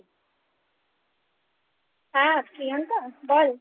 হ্যাঁ প্রিয়াংকা বল